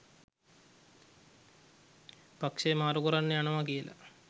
පක්ෂය මාරු කරන්න යනවා කියලා